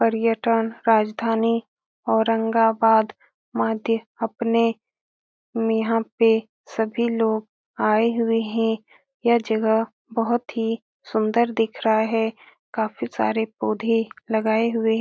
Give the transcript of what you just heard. और यह ट्रेन राजधानी ओरंगाबाद अपने यहाँ पे सभी लोग आये हुए हे यह जगह बहुत ही सुन्दर दिख रहा हे काफी सारे पौधे लगाए हुए हे ।